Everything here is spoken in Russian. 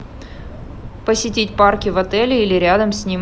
посетить парки в отеле или рядом с ним